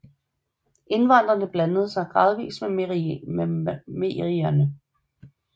Indvandrene blandede sig gradvist med merierne